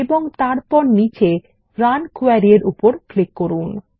এবং তারপর নীচে রান কোয়েরি এর উপর ক্লিক করুন